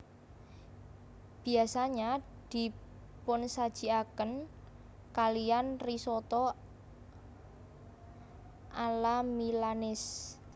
Biasanya dipunsajiaken kaliyan risotto alla milanese